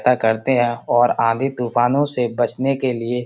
ता करते हैं और आंधी तूफानों से बचने के लिए --